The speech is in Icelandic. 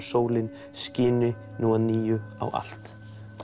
sólin skini nú að nýju á allt